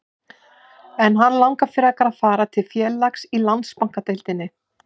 En langar hann frekar að fara til félags í Landsbankadeildinni?